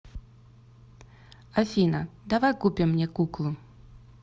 афина давай купим мне куклу